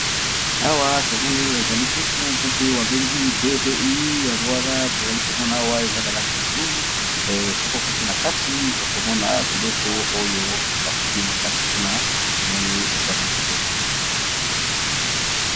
Awa tomoni ezali buku buku oyo babengi bdi yango wana tozali komona awa eza na langi ya bolulu soko kote na kati okomona biloko oyo bakomi na kati kuna tomoni ezali kitoko